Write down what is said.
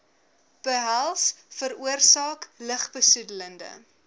behels veroorsaak lugbesoedelende